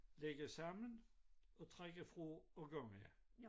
Lægge sammen og trække fra og gange